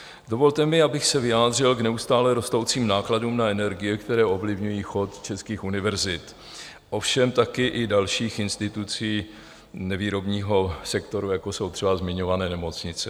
Dovolte mi, abych se vyjádřil k neustále rostoucím nákladům na energie, které ovlivňují chod českých univerzit, ovšem taky i dalších institucí nevýrobního sektoru, jako jsou třeba zmiňované nemocnice.